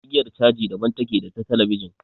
Igiyar caji daban take da ta talabijin.